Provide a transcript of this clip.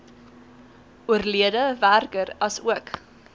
oorlede werker asook